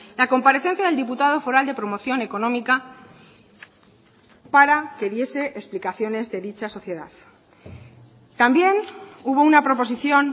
la comparecencia del diputado foral de promoción económica para que diese explicaciones de dicha sociedad también hubo una proposición